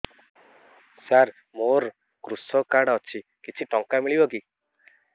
ସାର ମୋର୍ କୃଷକ କାର୍ଡ ଅଛି କିଛି ଟଙ୍କା ମିଳିବ କି